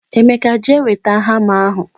emeka jee weta hama ahu